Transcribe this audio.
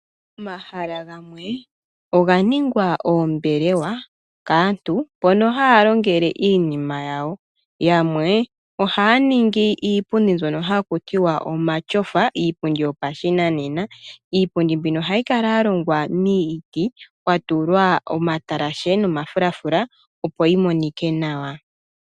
Omahala gamwe oga ningwa oombelewa kaantu moka ha ya longele iinima yawo. Aantu yamwe oha ya ningi iipundi mbyoka haku tiwa omatyofa, iipundi yopashinanena. Iipundi mbika ohayi kala ya longwa miiti, kwa tulwa omatalashe nomafulafula opo yi monike nawa.